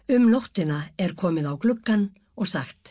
um nóttina er komið á gluggann og sagt